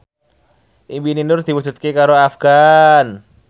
impine Nur diwujudke karo Afgan